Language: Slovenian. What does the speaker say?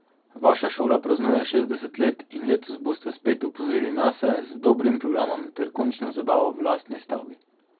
Vaša šola praznuje šestdeset let in letos boste spet opozorili nase z dobrim programom ter končno zabavo v lastni stavbi.